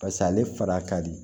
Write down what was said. Paseke ale fara ka di